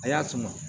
A y'a sama